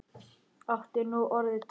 Áttu nú orðið tvær?